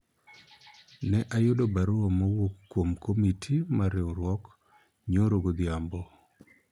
ne ayudo barua mowuok kuom komiti mar riwruok nyoro godhiambo